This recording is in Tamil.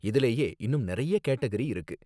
இதுலயே இன்னும் நிறைய கேட்டகரி இருக்கு